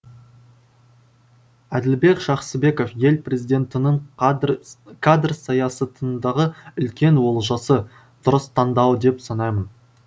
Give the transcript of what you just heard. әділбек жақсыбеков ел президентінің кадр саясатындағы үлкен олжасы дұрыс таңдауы деп санаймын